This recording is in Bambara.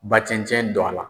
Ba cɛncɛn don a la.